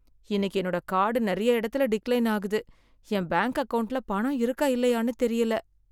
இன்னைக்கு என்னோட கார்டு நெறைய எடத்துல டிக்லைன் ஆகுது. என் பேங்க் அக்கவுண்ட்ல பணம் இருக்கா இல்லையானு தெரியல.